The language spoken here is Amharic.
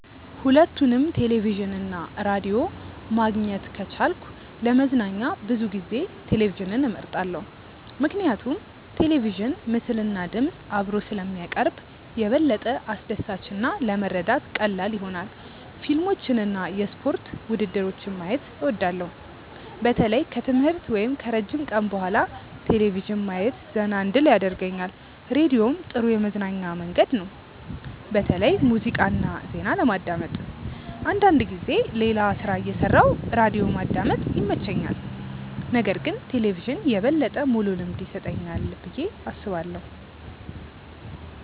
ሁለቱንም ቴሌቪዥን እና ራዲዮ ማግኘት ከቻልኩ ለመዝናኛ ብዙ ጊዜ ቴሌቪዥንን እመርጣለሁ። ምክንያቱም ቴሌቪዥን ምስልና ድምፅ አብሮ ስለሚያቀርብ የበለጠ አስደሳች እና ለመረዳት ቀላል ይሆናል። ፊልሞችን እና የስፖርት ውድድሮችን ማየት እወዳለሁ። በተለይ ከትምህርት ወይም ከረጅም ቀን በኋላ ቴሌቪዥን ማየት ዘና እንድል ያደርገኛል። ራዲዮም ጥሩ የመዝናኛ መንገድ ነው፣ በተለይ ሙዚቃ እና ዜና ለማዳመጥ። አንዳንድ ጊዜ ሌላ ሥራ እየሠራሁ ራዲዮ ማዳመጥ ይመቸኛል። ነገር ግን ቴሌቪዥን የበለጠ ሙሉ ልምድ ይሰጠኛል ብዬ አስባለሁ።